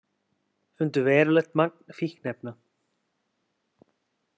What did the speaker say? Fundu verulegt magn fíkniefna